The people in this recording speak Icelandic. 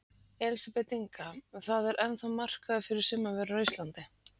Elísabet Inga: Það er ennþá markaður fyrir sumarvörur á Íslandi?